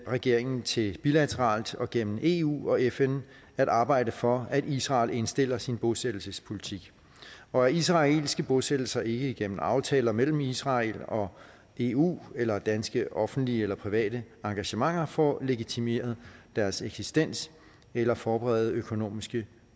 regeringen til bilateralt og igennem eu og fn at arbejde for at israel indstiller sin bosættelsespolitik og at israelske bosættelser ikke igennem aftaler mellem israel og eu eller danske offentlige eller private engagementer får legitimeret deres eksistens eller forberedt økonomiske